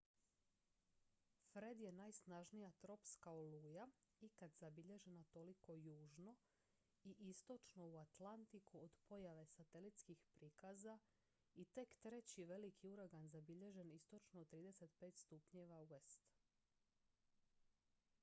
fred je najsnažnija tropska oluja ikad zabilježena toliko južno i istočno u atlantiku od pojave satelitskih prikaza i tek treći veliki uragan zabilježen istočno od 35° w